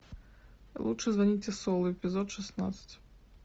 лучше звоните солу эпизод шестнадцать